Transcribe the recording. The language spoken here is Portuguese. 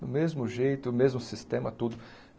do mesmo jeito, mesmo sistema, tudo.